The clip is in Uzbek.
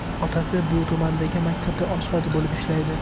Otasi shu tumandagi maktabda oshpaz bo‘lib ishlaydi.